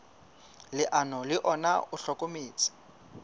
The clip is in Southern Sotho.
leano le ona o hlokometse